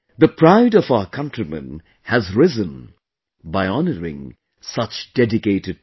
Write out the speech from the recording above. The pride of our countrymen has risen by honouring such dedicated people